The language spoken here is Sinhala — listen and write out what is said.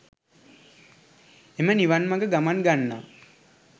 එම නිවන් මග ගමන් ගන්නා